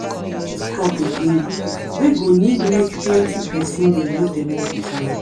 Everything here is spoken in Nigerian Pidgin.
plant crop again wey go need make plent pesin dey look dem all de time.